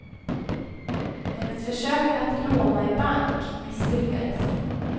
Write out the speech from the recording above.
Hennes försök att låna i bank misslyckades.